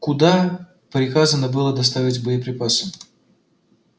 куда приказано было доставить боеприпасы